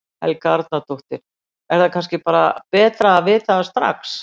Helga Arnardóttir: Er það kannski bara betra að vita það strax?